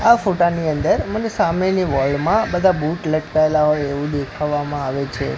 આ ફોટાની અંદર મને સામેની વોલ મા બધા બૂટ લટકાઈલા હોઇ એવુ દેખાવામાં આવે છે.